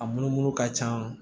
A munumunu ka can